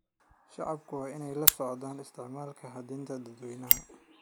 Shacabku waa inay la socdaan isticmaalka hantida dadweynaha.